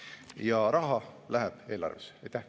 Ja raha läheb eelarvessee.